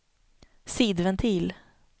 sidventil